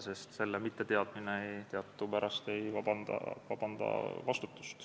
Seaduse mitteteadmine ei vabasta teadupärast vastutusest.